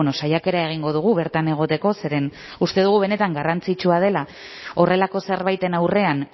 saiakera egingo dugu bertan egoteko zeren uste dugu benetan garrantzitsua dela horrelako zerbaiten aurrean